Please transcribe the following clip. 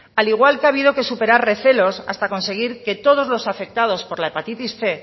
al igual que ha habido que superar recelos hasta conseguir que todos los afectados por la hepatitis cien